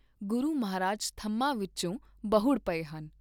ਗੁਰੂ ਮਹਾਰਾਜ ਥਮਾਂ ਵਿਚੋਂ ਬਹੁੜ ਪਏ ਹਨ।